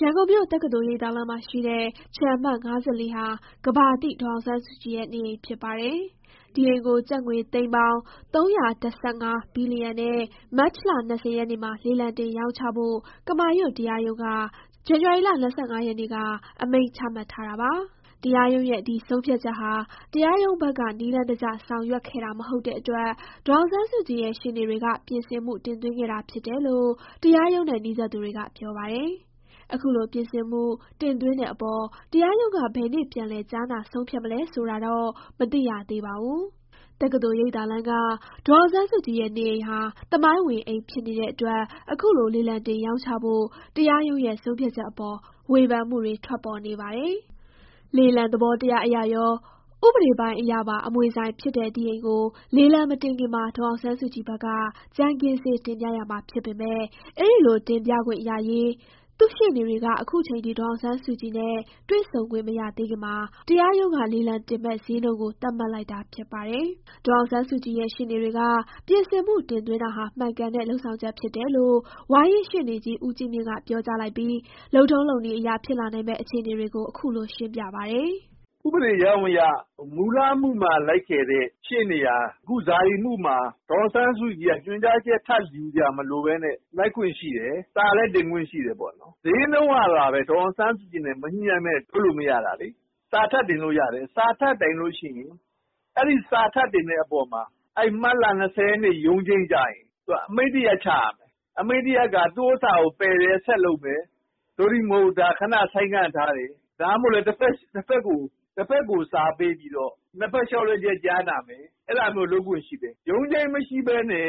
ရန်ကုန်မြို့၊ တက္ကသိုလ်ရိပ်သာလမ်းမှာရှိတဲ့ ခြံအမှတ် ၅၄ ဟာ ကမ္ဘာသိ ဒေါ်အောင်ဆန်းစုကြည်ရဲ့ နေအိမ်ဖြစ်ပါတယ်။ ဒီအိမ်ကို ကျပ်ငွေ ၃၁၅ ဘီလီယံနဲ့ မတ်လ ၂၀ ရက်နေ့မှာ လေလံတင် ရောင်းချဖို့ ကမာရွတ်တရားရုံးက ဇန်နဝါရီ ၂၅ ရက်နေ့က အမိန့် ချမှတ်ထားတာပါ။ တရားရုံးရဲ့ ဒီဆုံးဖြတ်ချက်ဟာ တရားရုံးဘက်က နည်းလမ်းတကျ ဆောင်ရွက်ခဲ့တာမဟုတ်တဲ့အတွက် ဒေါ်အောင်ဆန်းစုကြည်ရဲ့ ရှေ့နေတွေက ပြင်ဆင်မှု တင်သွင်းခဲ့တာဖြစ်တယ်လို့ တရားရုံးနဲ့ နီးစပ်သူတွေက ပြောပါတယ်။ အခုလို ပြင်ဆင်မှု တင်သွင်းတဲ့အပေါ် တရားရုံးက ဘယ်နေ့ ပြန်လည် ကြားနာ ဆုံးဖြတ်မလဲဆိုတာတော့ မသိရသေးပါဘူး။ တက္ကသိုလ်ရိပ်သာလမ်းက ဒေါ်အောင်ဆန်းစုကြည်ရဲ့ နေအိမ်ဟာ သမိုင်းဝင် အိမ်ဖြစ်နေတဲ့အတွက် အခုလို လေလံတင် ရောင်းချဖို့ တရားရုံးရဲ့ ဆုံးဖြတ်ချက်အပေါ် ဝေဖန်မှုတွေ ထွက်ပေါ်နေပါတယ်။ လေလံ သဘောတရားအရကော၊ ဥပဒေပိုင်းအရပါ အမွေဆိုင်ဖြစ်တဲ့ ဒီအိမ်ကို လေလံမတင်ခင်မှာ ဒေါ်အောင်ဆန်းစုကြည်ဘက်က ကြမ်းခင်းဈေး တင်ပြရမှာ ဖြစ်ပေမယ့် အဲဒီလို တင်ပြခွင့်ရရေး သူ့ရှေ့နေတွေက အခုချိန်ထိ ဒေါ်ဆောင်ဆန်းစုကြည်နဲ့ တွေ့ဆုံခွင့်မရသေးခင်မှာ တရားရုံးက လေလံတင်မယ့် ဈေးနှုန်းကို သတ်မှတ်လိုက်တာ ဖြစ်ပါတယ်။ ဒေါ်အောင်ဆန်းစုကြည်ရဲ့ ရှေ့နေတွေက ပြင်ဆင်မှုတင်သွင်းတာဟာ မှန်ကန်တဲ့ လုပ်ဆောင်ချက်ဖြစ်တယ်လို့ ဝါရင့်ရှေ့နေကြီး ဦးကြီးမြင့်က ပြောကြားလိုက်ပြီး လုပ်ထုံးလုပ်နည်းအရ ဖြစ်လာနိုင်မယ့် အခြေအနေတွေကို အခုလို ရှင်းပြပါတယ်။ “ဥပဒေကြောင်းအရ မူလအမှုမှာလိုက်တဲ့ရှေ့နေက ခုအမှုမှာ ဒေါ်အောင်ဆန်းစုကြည်ရဲ့ ညွှန်ကြားချက် ထပ်ယူစရာမလိုဘဲနဲ့ လိုက်ခွင့်ရှိတယ်။ စာတင်ခွင့်လည်းရှိတယ်။ စျေးနှုန်းကဘဲ ဒေါ်အောင်ဆန်းစုကြည်နဲ့ မညှိုနှိုင်းဘဲ လုပ်မရတာလေ။ စာတင်လို့ရတယ်။ စာတင်လို့ရှိရင် အဲအပေါ်မှာ မတ်လ ၂၀ရက်ရုံးချိန်းကျရင် အမိန့်တရပ်ချရမယ်။ အမိန့်တရပ်က ပယ်တယ်၊ ဆက်လုပ်မယ်၊ သို့တည်းမဟုတ် ဒါကို ခဏဆိုင်းငံ့ထားမယ်၊ ဒါမှ မဟုတ်လဲ တဖက်ကို စာပေးပြီးတော့ နှစ်ဖက်လျှောက်လဲချက် ကြားနာမယ်။ အဲဒါမျိုးလုပ်ခွင့်ရှိတယ်။ ရုံးချိန်းမရှိဘဲ တင်တာ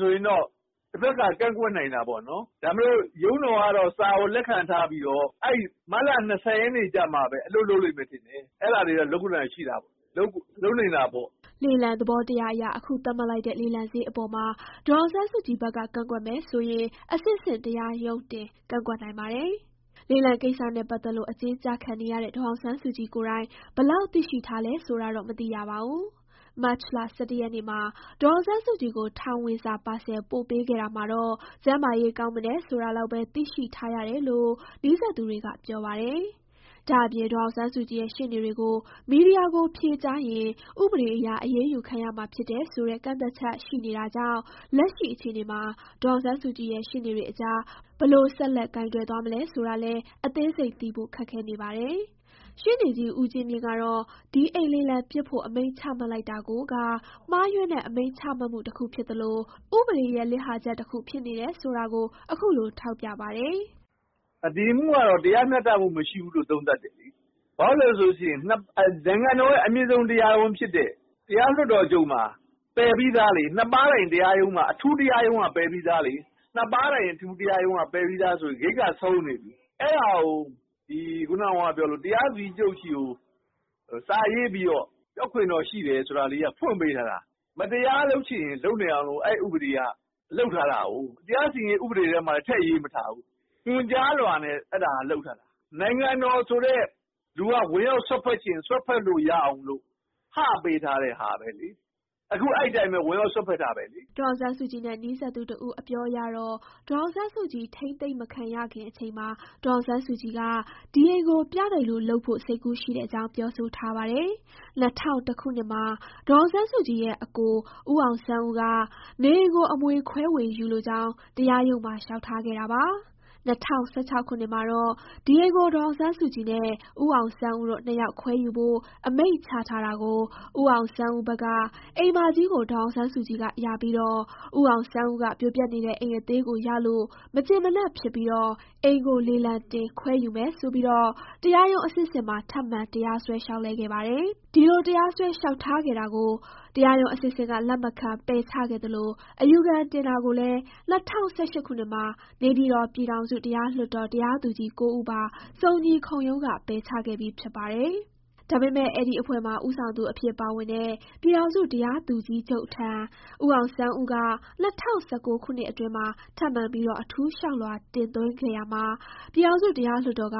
ကိုတော့ တဖက်ကကန့် ကွက်နိုင်တာပေါ့။ ဒါပေသိ ရုံးတော်ကတော့ စာကိုလက်ခံထားပြီးတော့ မတ်လ ၂၀ရက်ကျမှ အလုပ်လုပ်မယ်ထင်တယ်။ အဲဒါ တွေလုပ်နိုင်တာပေါ့။” လေလံသဘောတရားအရ အခုသတ်မှတ်လိုက်တဲ့ လေလံစျေးအပေါ်မှာ ဒေါ်အောင်ဆန်းစုကြည်ဘက်က ကန့်ကွက်မယ်ဆိုရင် အဆင့်ဆင့် တရားရုံးတင် ကန့်ကွက်နိုင်ပါတယ်။ လေလံကိစ္စနဲ့ ပတ်သတ်လို့ အကျဉ်းကျခံနေရတဲ့ ဒေါ်အောင်ဆန်းစုကြည်ကိုယ်တိုင် ဘယ်လောက်သိရှိ ထားလဲ ဆိုတာတော့ မသိရပါဘူး။ မတ် ၁၁ ရက်နေ့မှာ ဒေါ်အောင်ဆန်းစုကြည်ကို ထောင်ဝင်စာပါဆယ် ပို့ပေးခဲ့တာမှာတော့ ကျန်းမာရေး ကောင်းမွန်တယ်ဆိုတာလောက်ဘဲ သိရှိထားရတယ်လို့ နီးစပ်သူတွေက ပြောပါတယ်။ ဒါ့အပြင် ဒေါ်အောင်ဆန်းစုကြည်ရဲ့ ရှေ့နေတွေကို မီဒီယာကို ဖြေကြားရင် ဥပဒေအရ အရေးယူခံရမှာဖြစ်တယ်ဆိုတဲ့ ကန့်သတ်ချက် ရှိနေတာကြောင့် လက်ရှိ အခြေအနေမှာ ဒေါ်အောင်ဆန်းစုကြည်နဲ့ ရှေ့နေတွေအကြား ဘယ်လို ဆက်လက် ကိုင်တွယ်သွားမလဲဆိုတာလည်း အသေးစိတ်သိဖို့ ခက်ခဲနေပါတယ်။ ရှေ့နေကြီး ဦးကြီးမြင့်ကတော့ ဒီအိမ်လေလံပစ်ဖို့ အမိန့်ချမှတ်လိုက်တာကိုက မှားယွင်းတဲ့ အမိန့်ချမှတ်မှုတခု ဖြစ်သလို ဥပဒေရဲ့ လစ်ဟာချက်တခု ဖြစ်နေတယ်ဆိုတာကို အခုလို ထောက်ပြပါတယ်။ “ဒီအမှုကတော့ တရားမျှတမှုမရှိဘူးဘဲ သုံးသပ်တယ်လေ။ ဘာလို့ဆို နိုင်ငံတော် အမြင့်ဆုံးတရားရုံးဖြစ်တဲ့ တရားလွှတ်တော်ချုပ်မှာ ပယ်ပြီးသားလေ။ နှစ်ပါးထိုင်အထူးတရားရုံးက ပယ်ပြီးသားလေ။ နှစ်ပါးထိုင် အထူးတရားရုံးက ပယ်ပြီးသားဆို ဂိတ်က ဆုံးနေပြီ။ အဲဒါကို တရားသူကြီးချုပ်ဆီကို စာရေးတက်ခွင့်ရှိတယ်ဆိုတာနဲ့ ဖွင့်ပေးထားတာ။ မတရားလုပ်ချင် လုပ်နိုင်အောင် အဲဥပဒေက လုပ်ထားတာ။ တရားစီရင်ရေး ဥပဒေထဲမှာလည်း ထည့်မရေးထားဘူး။ ညွှန်ကြားလွှာနဲ့ လုပ်ထားတာ။ နိုင်ငံတော်ဆိုတဲ့လူက ဝင်ရောက် စွက်ဖက်ချင် စွက်ဖက်လို့ရအောင်လို့ ဟပေးထားတဲ့ဟာဘဲလေ။ အဲတော့ အဲအတိုင်းဘဲ ခုလည်း ဝင်ရောက် စွက်ဖက်တာဘဲလေ။” ဒေါ်အောင်ဆန်းစုကြည်နဲ့ နီးစပ်သူတဦး အပြောအရတော့ ဒေါ်အောင်ဆန်းစုကြည် ထိန်းသိမ်းမခံရခင်အချိန်မှာ ဒေါ်အောင်ဆန်းစုကြည်က ဒီအိမ်ကို ပြတိုက်လိုလုပ်ဖို့ စိတ်ကူးရှိတဲ့အကြောင်း ပြောဆိုထားပါတယ်။ ၂ဝဝ၁ ခုနှစ်မှာ ဒေါ်အောင်ဆန်းစုကြည်ရဲ့ အစ်ကို ဦးအောင်ဆန်းဦးက နေအိမ်ကို အမွေခွဲဝေယူလိုကြောင်း တရားရုံးမှာ လျှောက်ထားခဲ့တာပါ။ ၂၀၁၆ ခုနှစ်မှာတော့ ဒီအိမ်ကို ဒေါ်အောင်ဆန်းစုကြည်နဲ့ ဦးအောင်ဆန်းဦးတို့ ၂ ယောက်ခွဲယူဖို့ အမိန့်ချထားတာကို ဦးအောင်ဆန်းဦး ဘက်က အိမ်မကြီးကို ဒေါ်အောင်ဆန်းစုကြည်ကရပြီး ဦးအောင်ဆန်းဦးက ပြိုပျက်နေတဲ့ အိမ်အသေးကိုရလို့ မကျေနပ်ဖြစ်ပြီး အိမ်ကိုလေလံတင်ခွဲ ယူမယ်ဆိုပြီး တရားရုံးအဆင့်ဆင့်မှာ ထပ်မံတရားစွဲ လျှောက်လဲခဲ့ပါတယ်။ ဒီလို တရားစွဲ လျှောက်ထားခဲ့တာကို တရားရုံး အဆင့်ဆင့်က လက်မခံပယ်ချခဲ့သလို အယူခံတင်တာကိုလည်း ၂ဝ၁၈ခုနှစ်မှာ နေပြည်တော် ပြည်ထောင်စုတရားလွှတ်တော် တရားသူကြီး ၉ ဦးပါ စုံညီခုံရုံးက ပယ်ချခဲ့ပြီး ဖြစ်ပါတယ်။ ဒါပေမဲ့ အဲဒီအဖွဲ့မှာ ဦးဆောင်သူအဖြစ်ပါဝင်တဲ့ ပြည်ထောင်စုတရားသူကြီးချုပ်ထံ ဦးအောင်ဆန်းဦးက ၂ဝ၁၉ခုနှစ်အတွင်းမှာ ထပ်မံပြီး အထူးလျှောက်လွှာ တင်သွင်းခဲ့ရာမှာ ပြည်ထောင်စုတရားလွှတ်တော်က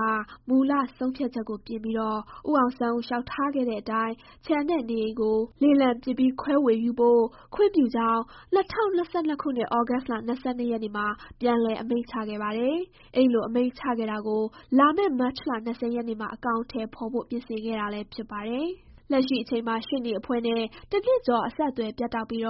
မူလ ဆုံးဖြတ်ချက်ကိုပြင်ပြီး ဦးအောင်ဆန်းဦး လျှောက်ထားခဲ့တဲ့အတိုင်း ခြံနဲ့ နေအိမ်ကို လေလံပစ်ပြီး ခွဲဝေယူဖို့ ခွင့်ပြုကြောင်း ၂၀၂၂ ခုနှစ် သြဂုတ်လ ၂၂ ရက်မှာပြန်လည်အမိန့်ချခဲ့ပါတယ်။ အဲဒီလို အမိန့်ချခဲ့တာကို လာမယ့် မတ်လ ၂၀ ရက်နေ့မှာ အကောင်အထည်ဖေါ်ဖို့ ပြင်ဆင်ခဲ့တာလည်း ဖြစ်ပါတယ်။ လက်ရှိအချိန်မှာ ရှေ့နေအဖွဲ့နဲ့ တစ်နှစ်ကျော် အဆက်အသွယ်ပြတ်တောက်ပြီး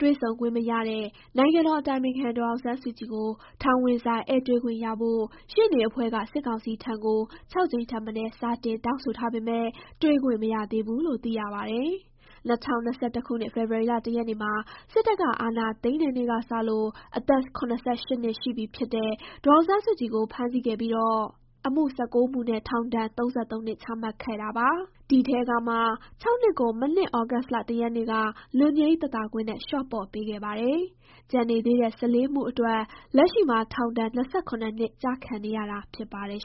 တွေ့ဆုံခွင့်မရတဲ့ နိုင်ငံတော်အတိုင်ပင်ခံ ဒေါ်အောင်ဆန်းစုကြည်ကို ထောင်ဝင်စာ ဧည့်တွေ့ခွင့်ရဖို့ ရှေ့နေအဖွဲ့က စစ်ကောင်စီထံကို ၆ ကြိမ်ထက်မနည်း စာတင် တောင်းဆိုထားပေမဲ့ တွေ့ခွင့်မရသေးဘူးလို့ သိရပါတယ်။ ၂၀၂၁ ခုနှစ် ဖေဖော်ဝါရီလ ၁ ရက်နေ့မှာ စစ်တပ်က အာဏာသိမ်းတဲ့နေ့ကစလို့ အသက် ၇၈ နှစ် ရှိပြီဖြစ်တဲ့ ဒေါ်အောင်ဆန်းစုကြည်ကို ဖမ်းဆီးခဲ့ပြီး အမှု ၁၉ မှုနဲ့ ထောင်ဒဏ် ၃၃ နှစ် ချမှတ်ခဲ့ပါတယ်။ ဒီအထဲကမှ ၆ နှစ်ကို မနှစ် သြဂုတ်လ ၁ ရက်နေ့က လွတ်ငြိမ်းသက်သာခွင့် နဲ့ လျှော့ပေါ့ ပေးခဲ့ပါတယ်။ ကျန်နေသေးတဲ့ ၁၄ မှုအတွက် လက်ရှိမှာ ထောင်ဒဏ် ၂၇ နှစ် ကျခံနေရတာ ဖြစ်ပါတယ်